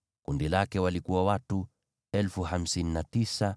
Kundi lake lina watu 59,300.